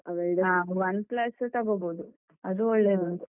OnePlus ತೊಗೊಬೋದು. ಅದು ಒಳ್ಳೆ ಉಂಟು.